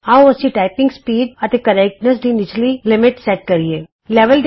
ਆਉ ਅਸੀਂ typing speed ਅਤੇ ਸ਼ੁੱਧਤਾ ਟਾਈਪਿੰਗ ਸਪੀਡ ਐਂਡ ਕਰੈਕਟਨੈੱਸ ਦੀ ਨਿੱਚਲੀ ਹੱਦ ਸੈਟ ਕਰੀਏ